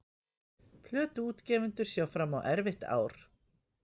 Plötuútgefendur sjá fram á erfitt ár